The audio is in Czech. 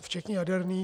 včetně jaderných.